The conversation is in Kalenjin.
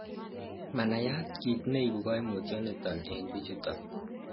manayat kit neibu Koimutioniton en bichuton